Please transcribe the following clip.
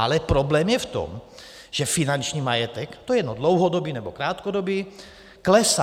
Ale problém je v tom, že finanční majetek, to je dlouhodobý, nebo krátkodobý, klesá.